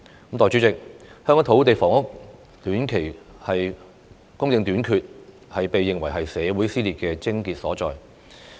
代理主席，香港土地房屋的短期供應短缺，被認為是社會撕裂的癥結所在。